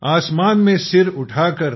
आसमान में सर उठाकर